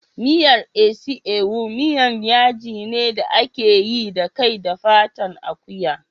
Miyar isi ewu miyan yaji ne da ake yi da kai da ƙafan akuya.